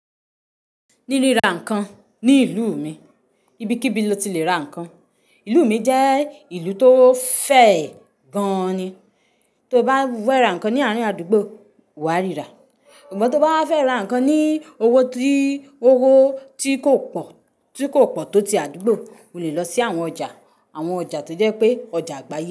Ní ríra nǹkan ní ìlú mi, ibikíbi lo ti le ra nǹkan. Ìlú mi jẹ́ ìlú tó fẹ̀ gan ni. Tó bá fera nǹkan ní àárín àdúgbò, wà á ríra. Sugbon tó bá wa fẹ́ ra nǹkan ní owó ti, owó ti kò pọ̀, tí kò pọ̀ tó ti àdúgbò, o le lọ sí àwọn ọjà, àwọn ọjà tó jẹ́ pé ọjà àgbáyé.